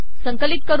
संकिलत कर